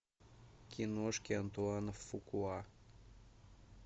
киношки антуана фукуа